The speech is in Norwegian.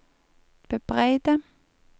bebreide